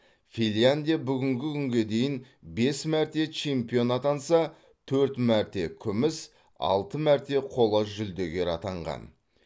финляндия бүгінгі күнге дейін бес мәрте чемпион атанса төрт мәрте күміс алты мәрте қола жүлдегер атанған